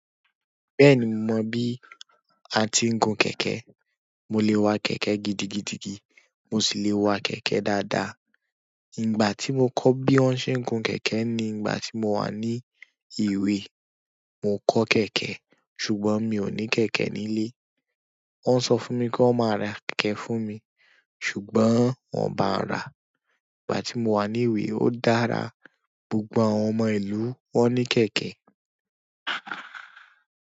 Bẹ́ẹ̀ni mo mọ̀ bí a tí ń gun kẹ̀kẹ́. Mo lè wa kẹ̀kẹ́ gidigidigidi, mo sì lè wa kẹ̀kẹ́ dáadáa. Ìgbà tí mo kọ́ bí wọ́n ṣe ń gun kẹ̀kẹ́ ni ìgbà tí mo wà ní ìwé. Mo kọ́ kẹ̀kẹ́ ṣùgbọ́n mi ò ní kẹ̀kẹ́ nílé. Wọ́n sọ fún mi kí wọ́n máa ra kẹ̀kẹ́ fún mi ṣùgbọ́n wọ́n bàá ra. Ìgbà tí mo wà ní ìwé ó dára, gbogbo àwọn ọmọ ìlú wọ́n ní kẹ̀kẹ́.